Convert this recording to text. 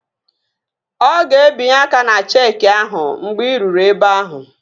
Ọ ga-ebinye aka ná cheeki ahụ mgbe ị ruru ebe ahụ